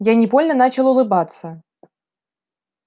я невольно начал улыбаться